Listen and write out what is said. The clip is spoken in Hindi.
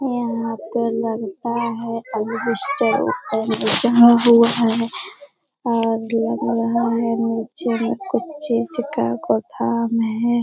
यहाँ पर लगता है हुआ है और लग रहा है नीचे में कुछ चीज का गोदाम है।